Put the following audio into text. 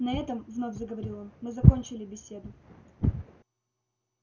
на этом вновь заговорил он мы закончили беседу